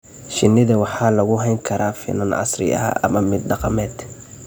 Shinnida waxaa lagu hayn karaa finan casri ah ama mid dhaqameed.